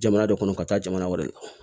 Jamana de kɔnɔ ka taa jamana wɛrɛ la